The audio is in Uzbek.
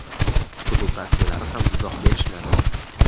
klub rasmiylari ham izoh berishmadi.